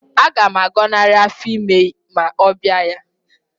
Aga m agọnarị afọ ime ma ọ bịa ya